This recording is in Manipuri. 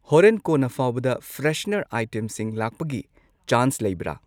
ꯍꯣꯔꯦꯟ ꯀꯣꯟꯅ ꯐꯥꯎꯕꯗ ꯐ꯭ꯔꯦꯁꯅꯔ ꯑꯥꯏꯇꯦꯝꯁꯤꯡ ꯂꯥꯛꯄꯒꯤ ꯆꯥꯟꯁ ꯂꯩꯕ꯭ꯔ ?